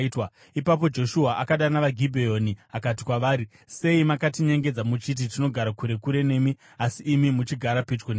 Ipapo Joshua akadana vaGibheoni akati kwavari, “Sei makatinyengedza muchiti, ‘Tinogara kure kure nemi,’ asi imi muchigara pedyo nesu?